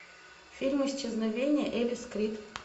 фильм исчезновение элис крид